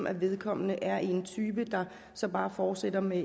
at vedkommende er en type som bare fortsætter med